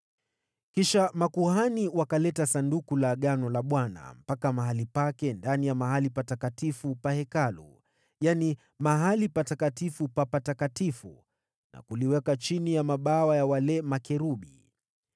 Makuhani wakalileta Sanduku la Agano la Bwana hadi mahali pake ndani ya sehemu takatifu ndani ya Hekalu, yaani Patakatifu pa Patakatifu, na kuliweka chini ya mabawa ya makerubi.